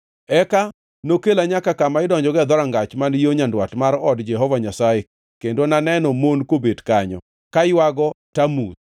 Eka nokela nyaka kama idonjogo e dhorangach man yo nyandwat mar od Jehova Nyasaye, kendo naneno mon kobet kanyo, ka ywago Tamuz.